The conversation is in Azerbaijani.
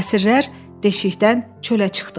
Əsirlər deşikdən çölə çıxdılar.